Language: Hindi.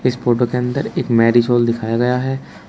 इस फोटो के अंदर एक मैरिज हॉल दिखाया गया है।